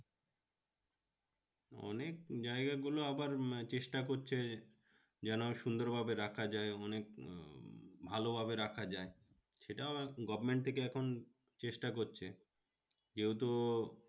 অনেক জায়গা গুলো আবার চেষ্টা করছে যেন সুন্দর ভাবে রাখা যায় অনেক আহ ভালোভাবে রাখা যায়। সেটাও government থেকে এখন চেষ্টা করছে যেহেতু